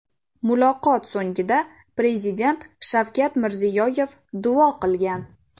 Muloqot so‘ngida Prezident Shavkat Mirziyoyev duo qilgan.